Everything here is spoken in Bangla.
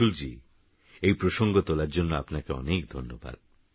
অংশুলজীএইপ্রসঙ্গতোলারজন্যআপনাকেঅনেকধন্যবাদ